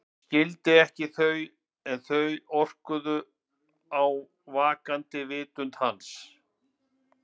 Hann skildi þau ekki en þau orkuðu á vaknandi vitund hans.